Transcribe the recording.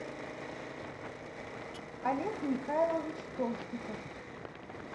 олег михайлович толстиков